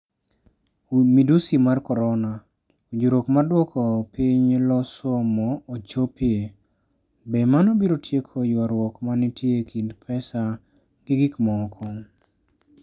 Midusi mar korona: Winjruok mar dwoko piny loso mo ochopie, be mano biro tieko ywaruok ma nitie e kind pesa gi gik moko?